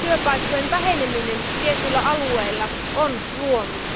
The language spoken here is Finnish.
työpaikkojen väheneminen tietyillä alueilla on luonut.